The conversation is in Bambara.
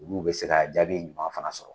Olu be se ka jaabi ɲuman fana sɔrɔ.